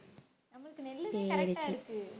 நமக்கு நெல்லுத correct ஆ இருக்கு